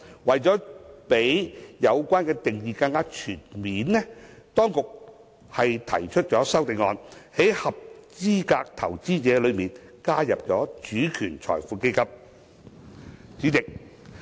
為了讓有關定義更全面，當局提出修正案，在"合資格投資者"中加入"主權財富基金"。